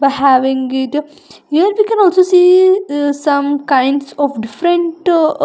Having we can also see some kinds of different --